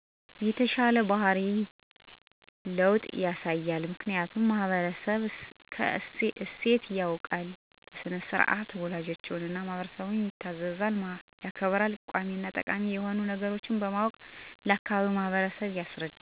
የተሻለ ባህሪ ለዉጥ ያሳያሉ። ምክኒያቱም ማህበራዊ እሴቶች ያዉቃሉ በሥነ -ስርዓት ወላጆቻቸዉን እና ማህበረሰብን ይታዘዛሉ ያከብራሉ። ጠቃሚና ጎጂ የሆኑ ነገሮች በማወቅ ለአካባቢዉ ማህበረሰብ ያስረዳሉ።